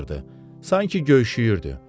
Sanki göyşüyürdü.